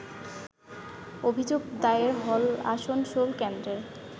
অভিযোগ দায়ের হল আসানসোল কেন্দ্রের